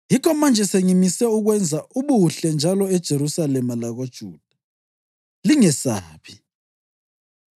“yikho manje sengimisile ukwenza ubuhle njalo eJerusalema lakoJuda. Lingesabi.